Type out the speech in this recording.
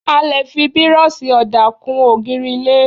A lè fi Bírọ́ọ̀ṣì ọ̀dà kún ògiri ilé.